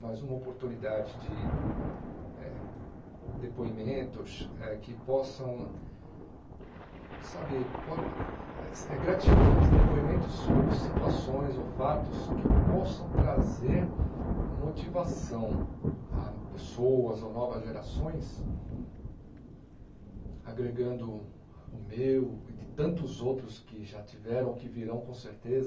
mas uma oportunidade de eh depoimentos eh que possam sabe po... É gratificante, depoimentos ou situações ou fatos que possam trazer motivação a pessoas ou novas gerações, agregando o meu e de tantos outros que já tiveram, que virão com certeza,